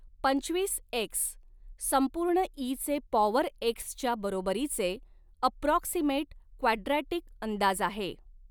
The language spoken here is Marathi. पंचवीस एक्स संपूर्ण इ चे पॉवर एक्स च्या बरोबरीचे अप्रॉक्सिमेट क्वाड्रॅटिक अंदाज आहे.